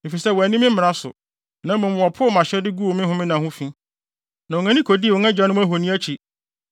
efisɛ wɔanni me mmara so, na mmom wɔpoo mʼahyɛde guu me homenna ho fi, na wɔn ani kodii wɔn agyanom ahoni akyi.